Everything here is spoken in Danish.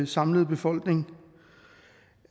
samlede befolkning